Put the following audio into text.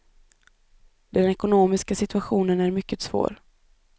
Den ekonomiska situationen är mycket svår.